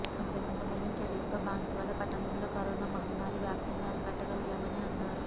సమర్ధవంతమైన చర్యలతో బాన్సువాడ పట్టణంలో కరోనా మహమ్మారి వ్యాప్తిని అరికట్టగలిగామని అన్నారు